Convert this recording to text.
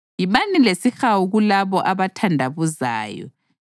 Yibani lesihawu kulabo abathandabuzayo;